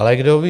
Ale kdo ví?